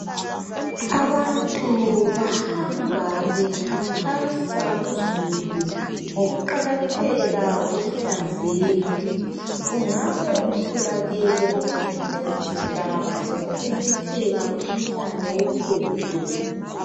Abantu bahamba bekhankasa kuzulu ngokuqakatheka kokuhlanzeka. Kungabe kutholakele ukuthi kulesi sigaba sekumemetheka umkhuhlane wohudo.